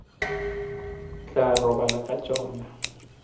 o tla robala ka tšona